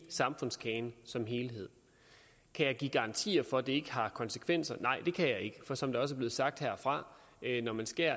samfundskagen som helhed kan jeg give garantier for at det ikke har konsekvenser nej det kan jeg ikke for som der også er blevet sagt herfra når man skærer